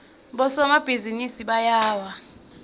bosomabhizinisi bayawa